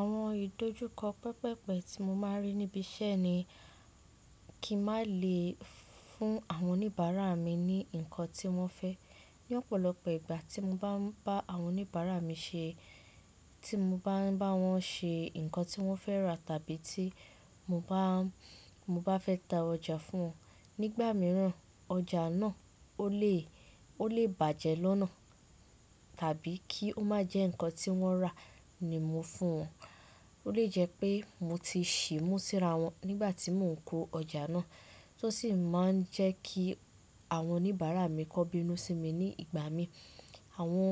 Àwọn ìdojúkọ pẹpẹpẹ tí mo máa ń rí níbi iṣẹ́ ni kí n má le fun àwọn oníbàárà mi ní nnkan tí wọ́n fẹ́. Ní ọ̀pọ̀lọpọ̀ ìgbà tí mo bá ń bá àwọn oníbàárà mi ṣe, tí mo bá ń bá wọn ṣe nǹkan tí wọ́n fẹ́ rà tàbí tí mo bá, mo bá fẹ́ ta ọjà fún wọn, nígbà mìíràn ọjà náà o le bàjẹ́ lọ́nà tàbí kí ó má jẹ́ nǹkan tí wọ́n rà ni mo fún wọn. O le jẹ́ pé mo ti ṣì mú síra wọn nígbà tí mò ń kó ọjà náà, tó sì máa ń jẹ́ kí àwọn oníbàárà mi kan binú sí mi ní ìgbà mi. Àwọn